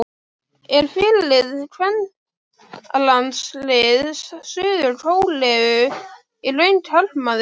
Er fyrirliði kvennalandsliðs Suður-Kóreu í raun karlmaður?